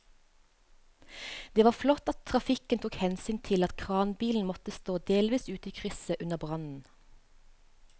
Det var flott at trafikken tok hensyn til at kranbilen måtte stå delvis ute i krysset under brannen.